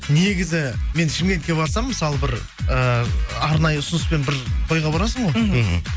негізі мен шымкентке барсам мысалы бір ыыы арнайы ұсынысыпен бір тойға барасың ғой мхм